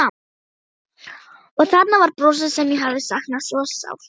Og þarna var brosið sem ég hafði saknað svo sárt.